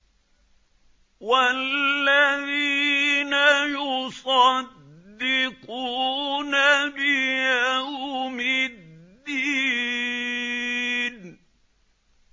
وَالَّذِينَ يُصَدِّقُونَ بِيَوْمِ الدِّينِ